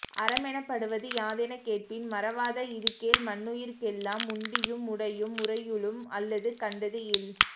அறமெனப்படுவது யாதெனக் கேட்பின் மறவாத இதுகேள் மன்னுயிர்க் கெல்லாம் உண்டியும் உடையும் உறையுளும் அல்லது கண்டது இல்